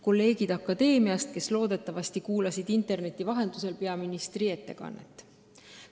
Kolleegid akadeemiast, kes loodetavasti kuulasid interneti vahendusel peaministri ettekannet!